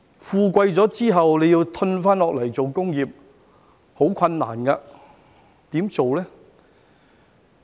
富貴後再退下來做工業其實十分困難，怎樣做呢？